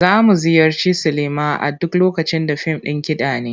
Za mu ziyarci silima a duk lokacin da fim ɗin kiɗa ne.